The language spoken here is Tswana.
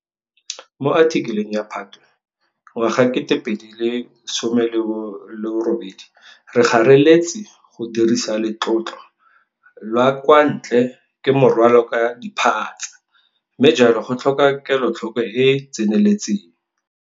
Mo athikeleng ya Phatwe 2018 re gareletse, go dirisa letlotlo la kwa ntle ke morwalo ka diphatsa, mme jalo go tlhoka kelotlhoko e e tseneletseng.